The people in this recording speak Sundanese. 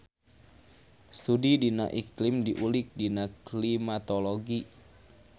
Studi dina iklim diulik dina Klimatologi.